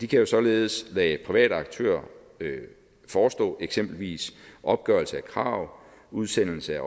kan således lade private aktører forestå eksempelvis opgørelse af krav udsendelse